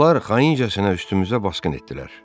Onlar xaincəsinə üstümüzə basqın etdilər.